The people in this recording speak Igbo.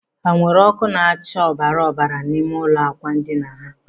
Ha nweere ọkụ na-acha ọbara ọbara n'ime ụlọ ákwà ndina ha?